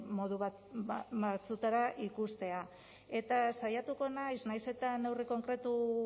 modu batzuetara ikustea eta saiatuko naiz nahiz eta neurri konkretu